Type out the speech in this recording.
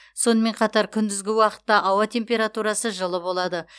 сонымен қатар күндізгі уақытта ауа температурасы жылы болады